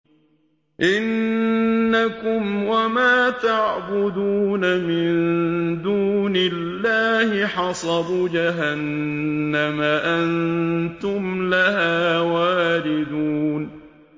إِنَّكُمْ وَمَا تَعْبُدُونَ مِن دُونِ اللَّهِ حَصَبُ جَهَنَّمَ أَنتُمْ لَهَا وَارِدُونَ